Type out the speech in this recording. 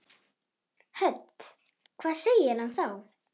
Hödd: Hvað segir hann þá?